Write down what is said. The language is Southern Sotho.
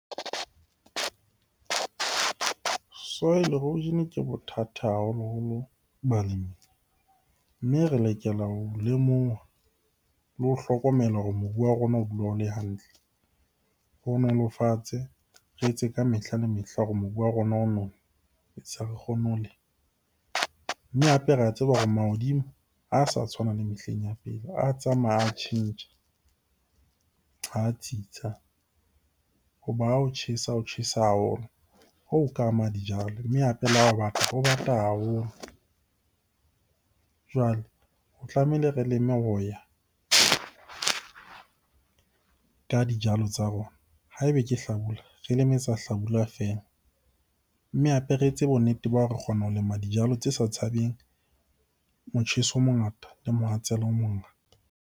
Soil erosion ke bothata haholoholo balemi. Mme re lokela ho lemoha le ho hlokomela hore mobu wa rona o dula o le hantle. Re o nolofatse, re etse ka mehla le mehla hore mobu wa rona re kgone ho lema. Mme hape re a tseba hore mahodimo ha sa tshwana le mehleng ya pele, a tsamaya a tjhentjha, ha tsitsa. Hoba ha o tjhesa, ho tjhesa haholo. Hoo ho ka ama dijalo. Mme hape le ha ho bata, ho bata haholo. Jwale ho tlameile re leme ho ya ka dijalo tsa rona. Ha ebe ke hlabula, re leme tsa hlabula feela, mme hape re etse bonnete ba hore re kgona ho lema dijalo tse sa tshabeng motjheso o mongata le mohatsela o mongata.